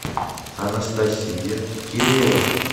анастасия кирилова